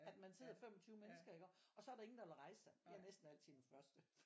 At man sidder 25 mennesker iggå og så er der ingen der vil rejse sig jeg er næsten altid den første